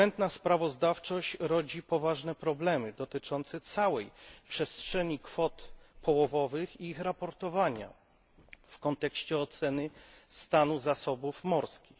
Błędna sprawozdawczość rodzi poważne problemy dotyczące całej przestrzeni kwot połowowych i ich raportowania w kontekście oceny stanu zasobów morskich.